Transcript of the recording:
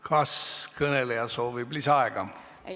Kas kõneleja soovib lisaaega?